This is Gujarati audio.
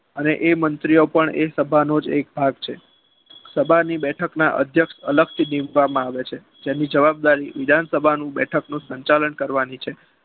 અને એ મંત્રીઓ પણ એ સભાનો જ એક ભાગ છે. સભાના અધ્યક્ષ બેઠકથી અલગ કરવામાં આવે છે. જેની જવાબદારી વિધાનસભાનું બેઠક નું સંચાલન કરવાની છે.